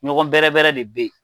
Ɲɔgɔn bɛrɛrɛ de bɛ yen